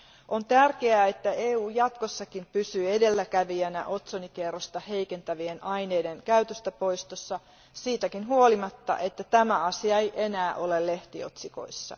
On tärkeää, että EU jatkossakin pysyy edelläkävijänä otsonikerrosta heikentävien aineiden käytöstä poistamisessa siitäkin huolimatta, että tämä asia ei enää ole lehtiotsikoissa.